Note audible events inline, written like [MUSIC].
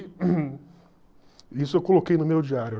[COUGHS] isso eu coloquei no meu diário.